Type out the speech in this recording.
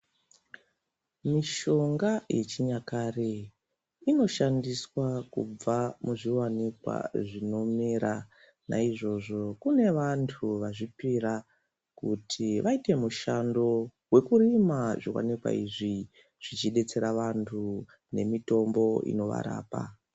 Mishonga yechinyakare inoshandiswa kubva muzviwanikwa zvinomera. Naizvozvo kune vantu vazvipira kuti vaite mushando wekurima zviwanikwa izvi, zvichidetsera vantu nemitombo inovarapa.